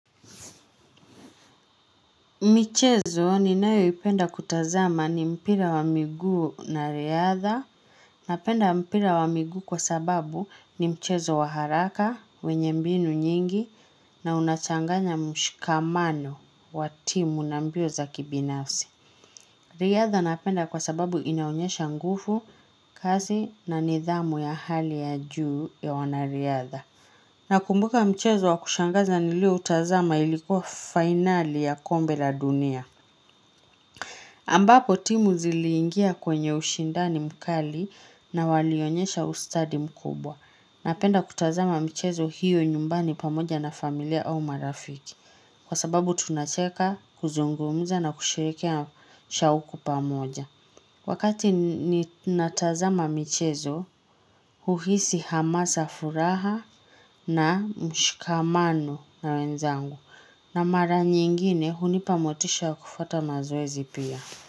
Michezo ninayoipenda kutazama ni mpira wa miguu na riadha. Napenda mpira wa miguu kwa sababu ni mchezo wa haraka, wenye mbinu nyingi na unachanganya mshikamano wa timu na mbio za kibinafsi. Riadha napenda kwa sababu inaonyesha nguvu, kazi na nidhamu ya hali ya juu ya wanariadha. Nakumbuka mchezo wa kushangaza nilio utazama ilikuwa finali ya kombe la dunia. Ambapo timu ziliingia kwenye ushindani mkali na walionyesha ustadi mkubwa. Napenda kutazama mchezo hiyo nyumbani pamoja na familia au marafiki. Kwa sababu tunacheka kuzungumza na kushirikia shauku pamoja. Wakati ninatazama mchezo, uhisi hamasa furaha na mshikamano na wenzangu. Na mara nyingine hunipa motisha kufuata mazoezi pia.